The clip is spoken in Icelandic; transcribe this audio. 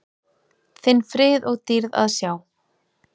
þinn frið og dýrð að sjá.